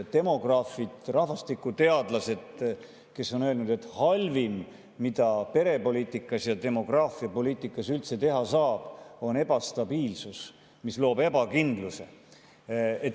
Demograafid ja rahvastikuteadlased on öelnud, et halvim, mida perepoliitikas ja demograafiapoliitikas üldse teha saab, on ebastabiilsuse, mis loob ebakindluse.